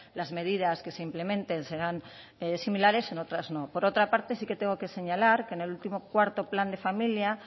las medidas que se implementen serán similares en otras no por otra parte sí que tengo que señalar que en el último cuarto plan de familia